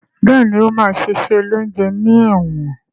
Béèni o ma ṣe iṣé oloúnjẹ ní èwòn.